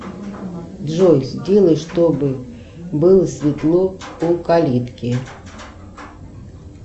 джой сделай чтобы было светло у калитки